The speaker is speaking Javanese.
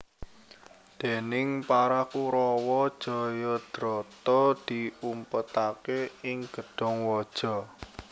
Déning para Kurawa Jayadrata diumpetaké ing gedhong waja